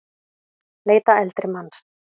Leita eldri manns